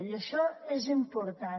i això és important